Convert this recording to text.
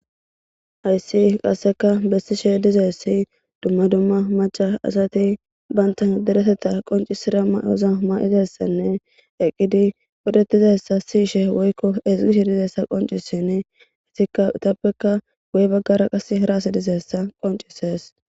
Hayssi qassekka besishe dizaysi dumma dumma macca asati banta deretetha qoncisida mayoza mayidi dizayssanne eqqidi beetizayssa si'ishe ezgishe dizayssa qoncisishe etappekka qasseka hara asi dizayssa qoncisees.